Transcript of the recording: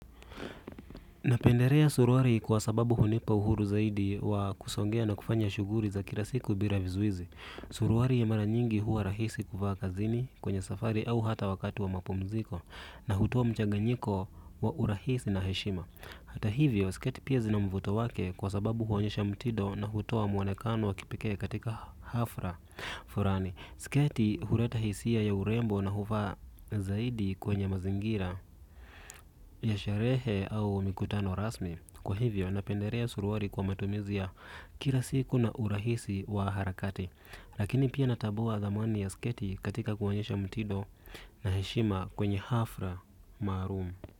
Napenderea suruari kwa sababu hunipa uhuru zaidi wa kusongea na kufanya shughuri za kila siku bira vizuizi. Suruari ya mara nyingi huwa rahisi kuvaa kazini kwenye safari au hata wakati wa mapumziko na hutoa mchanganyiko wa urahisi na heshima. Hata hivyo, sketi pia zina mvuto wake kwa sababu huonyesha mtido na hutoa mwonekano wa kipekee katika hafra furani. Sketi hureta hisia ya urembo na huvaa zaidi kwenye mazingira, ya sherehe au mikutano rasmi. Kwa hivyo, napenderea suruari kwa matumizi ya kila siku na urahisi wa harakati. Lakini pia natabua thamani ya sketi katika kuonyesha mtido na heshima kwenye hafra maarum.